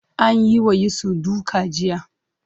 An yi wa Yusuf duka jiya.